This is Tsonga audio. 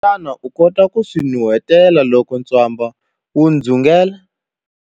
Xana u kota ku swi nuheta loko ntswamba wu dzungela?